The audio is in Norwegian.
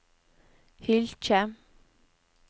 Hylkje